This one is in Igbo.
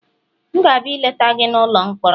M ga-abịa ileta gị n'ụlọ mkpọrọ